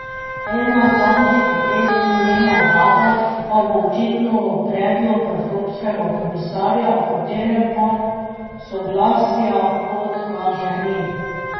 Ena zadnjih potez njene vlade pa bo očitno predlog evropskega komisarja, o katerem pa soglasja, kot kaže, ni.